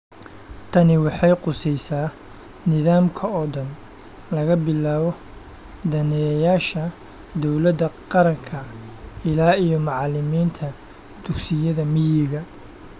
Tani waxay khusaysaa nidaamka oo dhan, laga bilaabo daneeyayaasha dawladda qaranka ilaa iyo macalimiinta dugsiyada miyiga.